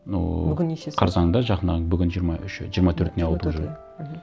но бүгін нешесі қарсанында бүгін жиырма үші жиырма төртіне ауды уже мхм